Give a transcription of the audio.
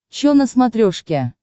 чо на смотрешке